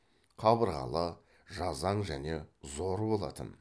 қабырғалы жазаң және зор болатын